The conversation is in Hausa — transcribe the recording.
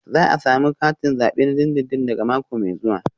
Za a samu katin zabe na dindindin daga mako mai zuwa